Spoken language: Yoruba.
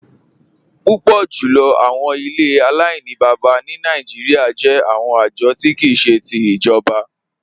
Púpọ̀ jùlọ̀ àwọn ilẹ̀ Aláìnìbábá ni Nàìjíríà jẹ̀ àwọn ajọ̀ ti kìí ṣe ti ijọ̀ba.